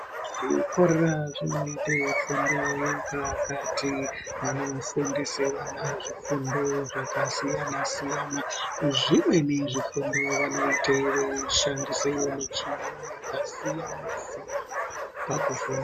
Zvikora zvinoite fundo yapakati vanofundise vana zvifundo zvakasiyana siyana zvimweni zvifundo vanoite veishandise michini yakasiyana siyana pakufunda.